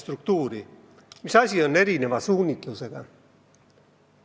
Mida tähendab, et isikud on erineva suunitlusega?